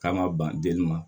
K'an ka ban delila